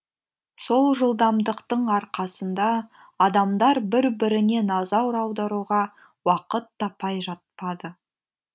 сол жылдамдықтың арқасында адамдар бір біріне назар аударуға уақыт таппай жатады